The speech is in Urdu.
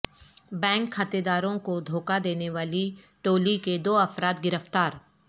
بینک کھاتہ داروں کو دھوکہ دینے والی ٹولی کے دو افراد گرفتار